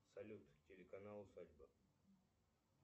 салют телеканал усадьба